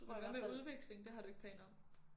Men hvad med udveksling det har du ikke planer om?